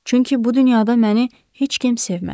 Çünki bu dünyada məni heç kim sevmədi.